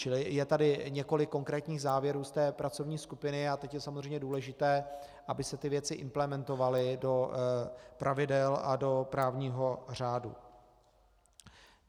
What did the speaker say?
Čili je tady několik konkrétních závěrů z té pracovní skupiny a teď je samozřejmě důležité, aby se ty věci implementovaly do pravidel a do právního řádu.